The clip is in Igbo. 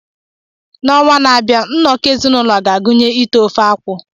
N’ọnwa na-abịa, nnọkọ ezinụlọ ga-agụnye ite ofe-akwu.